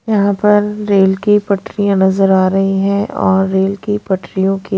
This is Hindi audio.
यहां पर रेल की पटरियां नजर आ रही है और रेल की पटरियों की--